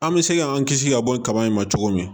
An bɛ se k'an kisi ka bɔ kaba in ma cogo min